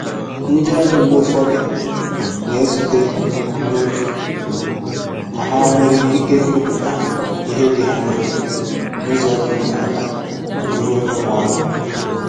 Ndi ọrụ mgbe ụfọdụ na ezute nnutu ma ha nwere ikike ikwupụta ihe dị ha n’obi n’ụzọ dị umeala n’ihu onye nwe ọrụ